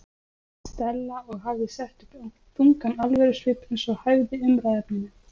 Stella og hafði sett upp þungan alvörusvip eins og hæfði umræðuefninu.